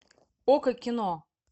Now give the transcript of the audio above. окко кино